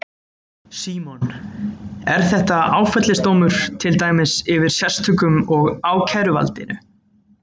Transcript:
Símon: Er þetta áfellisdómur, til dæmis yfir sérstökum og ákæruvaldinu?